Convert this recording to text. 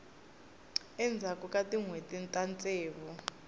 endzhaku ka tinhweti ta ntsevu